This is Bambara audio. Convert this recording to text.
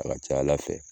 A ka ca ala fɛ